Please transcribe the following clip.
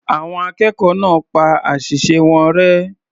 Àwọn akẹ́kọ̀ọ́ náà pa àṣìṣe wọn rẹ́.